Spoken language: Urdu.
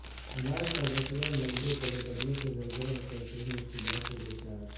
اناج کا ذخیرہ ملبے تلے دبنے سے زلزلہ متاثرین مشکلات سے دوچار